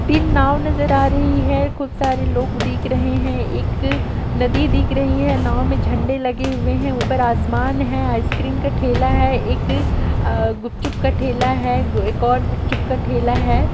तीन नाव नजर आ रही है खूब सारे लोग दिख रहे हैं एक नदी दिख रही है नाव में झंडा लगे हुए है ऊपर आसमान है आइसक्रीम का ठेला है एक ए-ए-ए गुपचुप का ठेला है ए-व एक और गुपचुप का ठेला हैं।